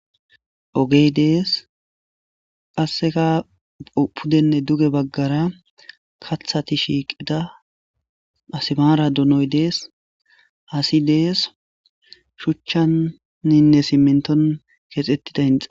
ogey dees qasseka pudenne duge baggara kathati shiiqida asmaara dunoy dees hasi dees shuchchanninne simmenton keexettida inxa